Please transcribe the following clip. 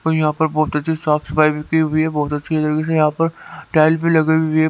कोई यहां पर बहुत अच्छी साफ सफाई भी की हुई है बहुत अच्छी तरीके से यहां पर टाइल भी लगी हुई है।